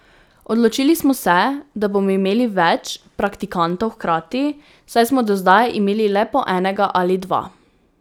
Odločili smo se, da bomo imeli več praktikantov hkrati, saj smo do zdaj imeli le po enega ali dva.